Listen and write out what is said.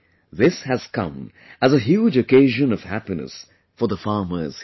This has come as a huge occasion of happiness for the farmers here